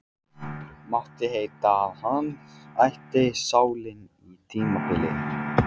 Mátti heita að hann ætti salinn á tímabili.